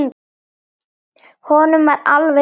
Honum var alveg sama.